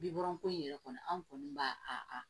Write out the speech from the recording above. Bi wɔɔrɔ ko in yɛrɛ kɔni an kɔni b'a a